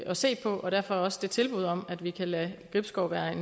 at se på og derfor også det tilbud om at vi kan lade gribskov være